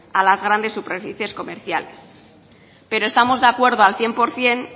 a las grandes superficies comerciales pero estamos de acuerdo al cien por ciento